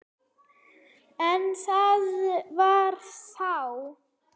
En það var þá.